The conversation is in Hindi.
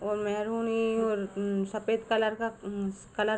और मेंरुनी और सफ़ेद कलर का कलर --